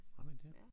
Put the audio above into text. Har man det?